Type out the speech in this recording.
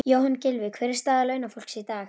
Jóhann: Gylfi, hver er staða launafólks í dag?